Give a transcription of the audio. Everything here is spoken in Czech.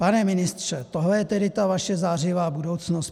Pane ministře, tohle je tedy ta vaše zářivá budoucnost?